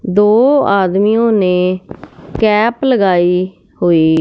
दो आदमियों ने कैप लगाई हुई--